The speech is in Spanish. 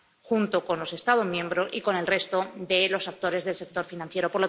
junto con los Estados miembros y el resto de los actores del sector financiero.